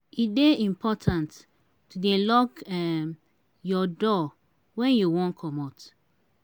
e dey important to dey lock um your door wen you wan comot.